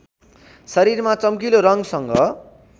शरीरमा चम्किलो रङ्गसँग